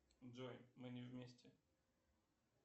джой мы не вместе